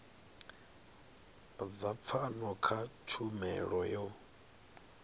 dza pfano kha tshumelo yo